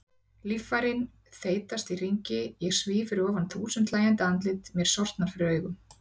Líffærin þeytast í hringi, ég svíf fyrir ofan þúsund hlæjandi andlit, mér sortnar fyrir augum.